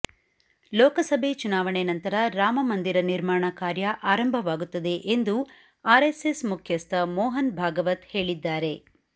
ಲೋಕಸಭೆ ಚುನಾವಣೆ ನಂತರ ರಾಮಮಂದಿರ ನಿರ್ಮಾಣ ಕಾರ್ಯ ಆರಂಭವಾಗುತ್ತದೆ ಎಂದು ಆರ್ ಎಸ್ ಎಸ್ ಮುಖ್ಯಸ್ಥ ಮೋಹನ್ ಭಾಗವತ್ ಹೇಳಿದ್ದಾರೆ